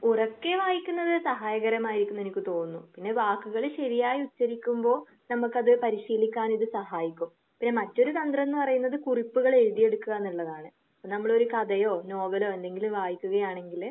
ഉറക്കെ വായിക്കുന്നത് സഹായകരമായിരിക്കും എനിക്ക് തോന്നുന്നത്. പിന്നെ വാക്കുകൾ ശരിയായി ഉച്ചരിക്കുമ്പോൾ നമുക്കത് പരിശ്രമിക്കാനൊക്കെ ഒരു സഹായിക്കും. പിന്നെ മെയിൻ കണ്ടന്റ് എന്ന് പറയുന്നത് കുറിപ്പുകൾ എഴുതി എടുക്കുക എന്നുള്ളതാണ്. നമ്മള് ഒരു കഥയോ നോവലോ എന്തെങ്കിലും വായിക്കുകയാണെങ്കില്